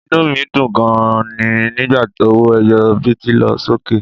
Inú mi dùn gan-an ni nígbà owó ẹyọ bíìtì lọ sókè